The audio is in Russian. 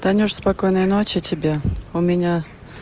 танюша спокойной ночи тебе у меня